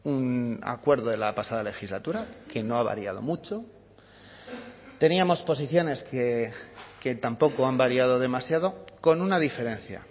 un acuerdo de la pasada legislatura que no ha variado mucho teníamos posiciones que tampoco han variado demasiado con una diferencia